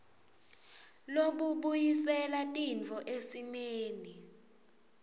lobubuyisela tintfo esimeni